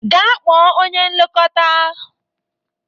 Gaa kpọọ onye nlekọta